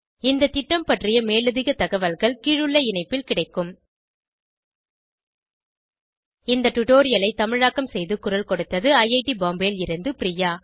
இந்த திட்டம் பற்றிய மேலதிக தகவல்கள் கீழுள்ள இணைப்பில் கிடைக்கும் httpspoken tutorialorgNMEICT Intro இந்த டுடோரியலை தமிழாக்கம் செய்து குரல் கொடுத்தது ஐஐடி பாம்பேவில் இருந்து பிரியா